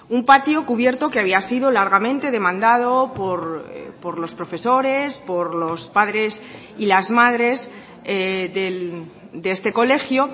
un patio cubierto que había sido largamente demandado por los profesores por los padres y las madres de este colegio